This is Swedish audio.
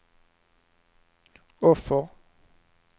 offer